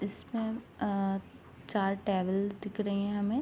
इसमें अ चार टेबल्स दिख रही है हमें।